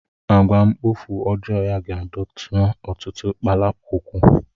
Àgwà mkpofu ọjọọ ya ga-adọta ọtụtụ kpalakwukwu.